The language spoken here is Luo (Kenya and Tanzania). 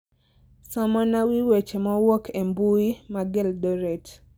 somona wi weche mowuok e mbui mag Eldoret